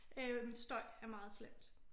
Øh støj er meget slemt